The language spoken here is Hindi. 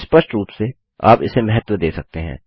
स्पष्ट रूप से आप इसे महत्व दे सकते हैं